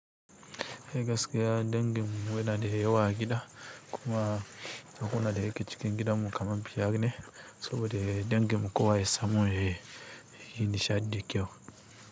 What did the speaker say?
Eh gaskiya dangin mu muna da yawa a gida. Kuma suna da yake cikin gidan mu kaman biyar ne, saboda dangin mu kowa ya samu yayi nishaɗi kyau.